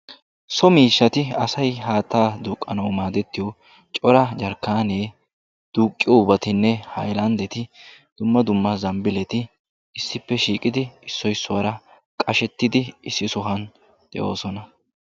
So miishshati asay haattaa duuqanawu maaddetiyoo cora jarkkaanee duqqiyoobatinne hayilanddeti dumma dumma zambbileti qashshettidi issippe shiiqqidi issoy issuwaara issisaan de'oosona.